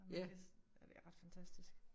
Og man kan ja det er ret fantastisk